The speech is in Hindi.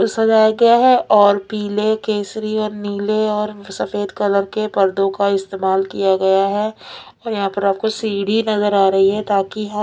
सजाया गया है और पीले केसरी और नीले और उम सफेद कलर के पर्दों का इस्तेमाल किया गया है और यहाँ पर आपको सीढ़ी नजर आ रही है ताकि हम--